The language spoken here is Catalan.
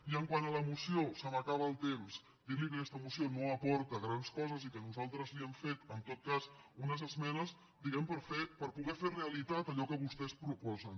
i quant a la moció se m’acaba el temps dir li que aquesta moció no aporta grans coses i que nosaltres li hem fet en tot cas unes esmenes diguem ne per poder fer realitat allò que vostès proposen